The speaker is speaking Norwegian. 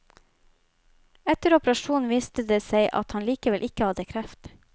Etter operasjonen viste det seg at han likevel ikke hadde kreft.